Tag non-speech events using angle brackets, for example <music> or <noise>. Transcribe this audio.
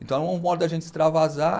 Então <unintelligible> de a gente extravasar.